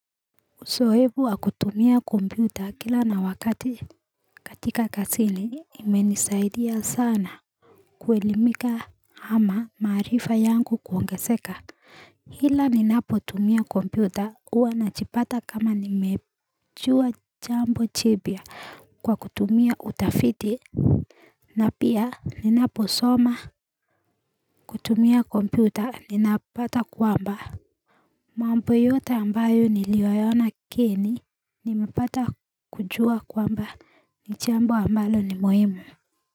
Uzoefu wa kutumia kompyuta kila na wakati katika kazini imenisaidia sana Kuelimika ama maarifa yangu kuongezeka ila ninapotumia kompyuta huwa najipata kama nimejua jambo jipya kwa kutumia utafiti na pia ninapo soma kutumia kompyuta ninapata kwamba mambo yota ambayo niliyaona geni, nimepata kujua kwamba ni jambo ambalo ni muhimu.